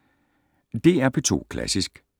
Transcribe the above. DR P2 Klassisk